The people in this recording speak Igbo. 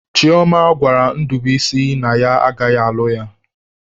Chioma gwara Ndubuisi na ya agaghị alụ ya.